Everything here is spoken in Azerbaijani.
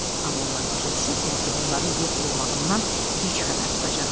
Amma onlar başa düşürdülər ki, onları yox olmağından gec xəbər tutacaqlar.